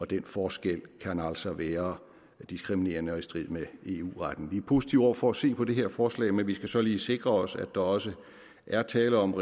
den forskel kan altså være diskriminerende og i strid med eu retten vi er positive over for at se på det her forslag men vi skal så lige sikre os at der også er tale om